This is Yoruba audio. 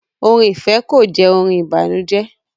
Orin ifẹ kò jẹ orin ìbànújẹ